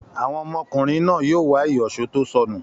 Àwọn ọmọkùnrin náà yóò wá ìyọ̀ṣó tó sọnù.